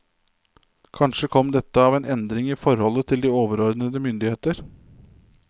Kanskje kom dette av en endring i forholdet til de overordnede myndigheter.